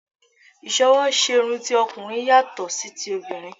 Ìsọwọ́ṣerun ti ọkùnrin yàtọ̀ sí ti obìrin